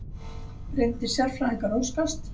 Reyndir sérfræðingar óskast